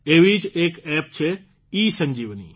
એવી જ એક એપ છે ઇસંજીવની